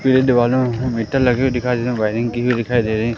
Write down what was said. मुझे दिवालो में मीटर लगे हुए दिखाइ दे रहे हैं। वायरिंग की हुई दिखाइ दे रहे है।